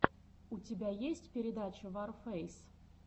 у тебя есть передача варфэйс